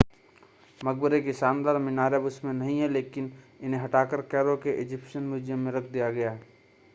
मक़बरे की शानदार मीनारें अब उसमें नहीं हैं लेकिन इन्हें हटाकर कैरो के इज़िप्शियन म्यूज़ियम में रख दिया गया है